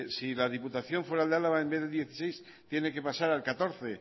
si la diputación foral de álava en vez de dieciséis tiene que pasar al catorce